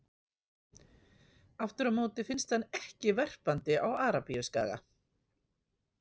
Aftur á móti finnst hann ekki verpandi á Arabíuskaga.